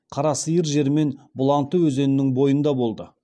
қарасиыр жері мен бұланты өзенінің бойында болды